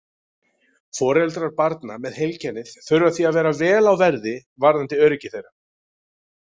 Foreldrar barna með heilkennið þurfa því að vera vel á verði varðandi öryggi þeirra.